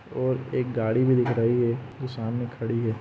और एक गाड़ी भि दिख रही है जो सामने खड़ी है।